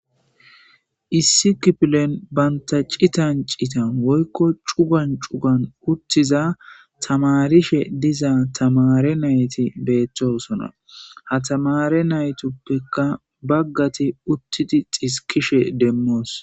Issi kipilen banta citan cita woykko cugan cugan uttiza tamarishe diza tamare nayti beettoosona ha tamare naytuppekka baggati uttidi xiskishe demmoos.